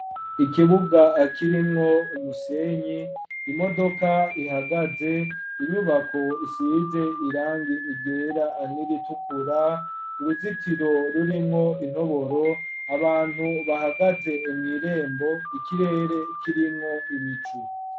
Ikibuga, kirimwo umusenyi, imodoka ihagaze, inyubako isize irangi ryera, n'iritukura, uruzitiro rurimwo intoboro, abantu bahagaze mw'irembo, ikirere kirimwo ibicu.